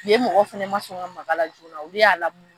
Yen mɔgɔw fɛnɛ ma sɔn ka maka la joona olu y'a lamunu.